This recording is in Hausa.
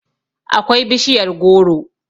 akwai bishiyar goro